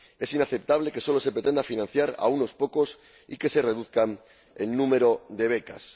Es inaceptable que solo se pretenda financiar a unos pocos y que se reduzca el número de becas.